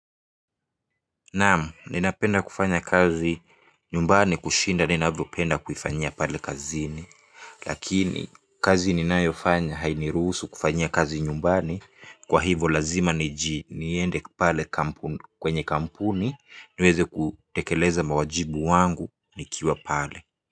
Naam, ninapenda kufanya kazi nyumbani kushinda ninavyopenda kuifanyia pale kazini. Lakini kazi ninayo fanya hainirusu kufanyia kazi nyumbani. Kwa hivo lazima nijiende pale kwenye kampuni niweze kutekeleza mawajibu wangu nikiwa pale.